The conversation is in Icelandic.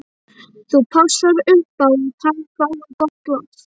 Þú passar upp á að hann fái gott loft.